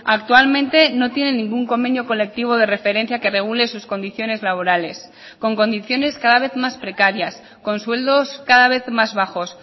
actualmente no tienen ningún convenio colectivo de referencia que regule sus condiciones laborales con condiciones cada vez más precarias con sueldos cada vez más bajos